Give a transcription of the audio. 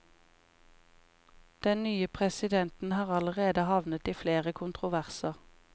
Den nye presidenten har allerede havnet i flere kontroverser.